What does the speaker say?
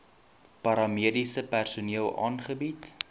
paramediese personeel aangebied